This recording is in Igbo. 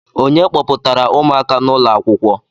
Ònye kpọpụtara ụmụaka n'ụlọ akwụkwọ?